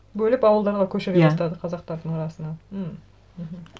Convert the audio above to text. бөліп ауылдарға көшіре бастады иә қазақтардың арасына м мхм